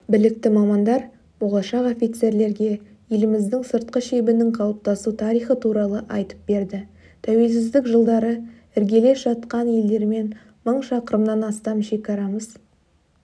білікті мамандар болашақ офицерлерге еліміздің сыртқы шебінің қалыптасу тарихы туралы айтып берді тәуелсіздік жылдары іргелес жатқан елдермен мың шақырымнан астам шекарамыз